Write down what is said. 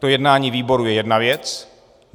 To jednání výboru je jedna věc.